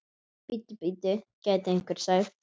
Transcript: Bíddu, bíddu, gæti einhver sagt.